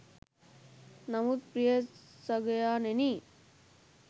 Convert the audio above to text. නමුත් ප්‍රිය සගයාණෙනි